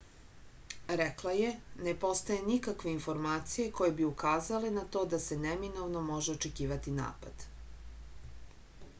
rekla je ne postoje nikakve informacije koje bi ukazale na to da se neminovno može očekivati napad